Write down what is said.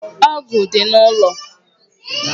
Ọ̀gu dị n'ụlọ